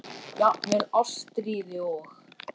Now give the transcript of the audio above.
Jafnvel Ástríði og